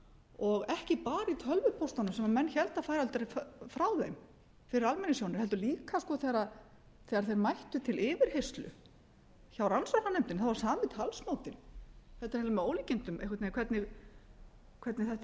og ekki bara í tölvupóstunum sem menn héldu að færu aldrei frá þeim fyrir almenningssjónir heldur líka þegar þeir mættu til yfirheyrslu hjá rannsóknarnefndinni þá var sami talsmátinn þetta er hreint með ólíkindum einhvern veginn hvernig þetta